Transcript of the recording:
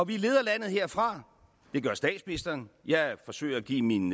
vi leder landet herfra det gør statsministeren jeg forsøger at give hende en